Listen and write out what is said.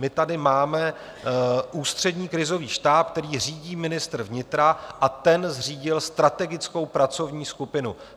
My tady máme Ústřední krizový štáb, který řídí ministr vnitra, a ten zřídil strategickou pracovní skupinu.